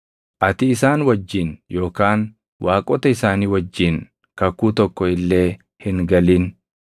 Ati isaan wajjin yookaan waaqota isaanii wajjin kakuu tokko illee hin galin.